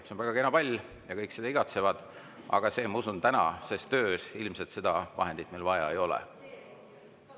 See on väga kena pall ja kõik seda igatsevad, aga ma usun, et tänases töös meil seda vahendit vaja ei ole.